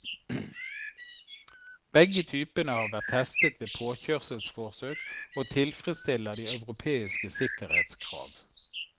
Begge typene har vært testet ved påkjørselforsøk og tilfredsstiller de europeiske sikkerhetskrav.